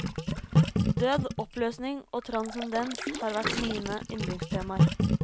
Død, oppløsning og transcendens har vært mine yndlingstemaer.